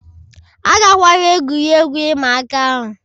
Agakwala egwuregwu ịma aka ahụ